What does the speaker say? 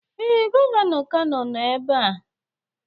Ee, gọvanọ Kano nọ ebe a.